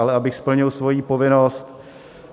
Ale abych splnil svoji povinnost...